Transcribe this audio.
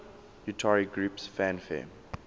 utari groups fanfare